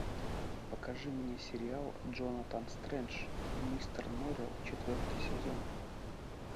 покажи мне сериал джонатан стрендж и мистер норрелл четвертый сезон